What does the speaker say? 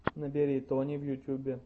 набери тони в ютюбе